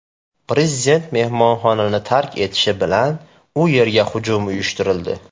Prezident mehmonxonani tark etishi bilan u yerga hujum uyushtirildi.